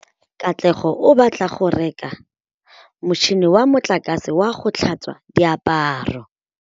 Katlego o batla go reka motšhine wa motlakase wa go tlhatswa diaparo.